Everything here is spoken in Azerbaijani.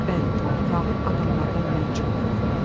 Bəli, fağır adamlardan mən çox qorxuram.